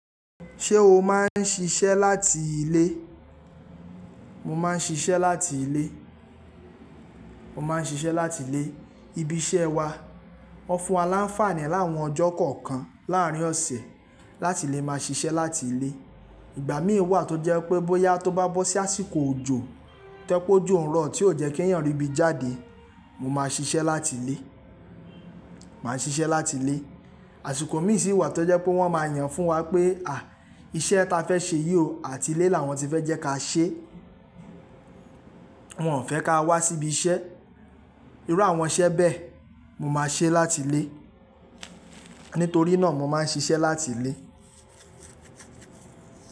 Ṣé o máa ń ṣiṣẹ́ láti ilé? Mo máa ń ṣiṣẹ́ láti ilé. Mo máa ń ṣiṣẹ́ láti ilé. Ibi iṣẹ́ wa, wọ́n fún wa láǹfààní láwọn ọjọ́ kọ̀ọ̀kan láàárín ọ̀sẹ̀ láti lè máa ṣiṣẹ́ láti ilé. Ìgbà mìí wà tó jẹ́ pé bóyá tó bá bọ́ sí àsìkò òjò, toẹ́ pe ojù ń rọ̀ tí ó jẹ́ kèèyàn ríbi jáde, mo máa ṣiṣẹ́ láti ilé. Màá ṣiṣẹ́ láti ilé. Àsìkò mìíràn sì wà tó jẹ́ pé wọ́n máa yàn fún wa pé, à, iṣẹ́ ta fẹ́ ṣe yìí ò, àti ilé làwọn ti fẹ́ jẹ́ ká ṣe. Wọn ò fẹ́ ká wá síbi iṣẹ́. Irú àwọn iṣẹ́ bẹ mo máa ṣe láti ilé. Nítorí náà mo máa ń ṣiṣẹ́ láti ilé.